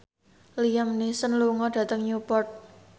Liam Neeson lunga dhateng Newport